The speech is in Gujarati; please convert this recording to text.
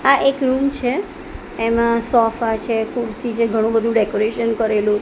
આ એક રુમ છે એમા સોફા છે ખુરસી છે ઘણુ વધુ ડેકોરેશન કરેલુ--